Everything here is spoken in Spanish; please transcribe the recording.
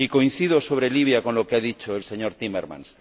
Y coincido, sobre Libia, con lo que ha dicho el señor Timmermans.